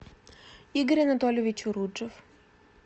игорь анатольевич уруджев